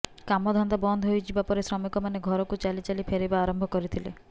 କାମଧନ୍ଦା ବନ୍ଦ ହୋଇଯିବା ପରେ ଶ୍ରମିକମାନେ ଘରକୁ ଚାଲି ଚାଲି ଫେରିବା ଆରମ୍ଭ କରିଥିଲେ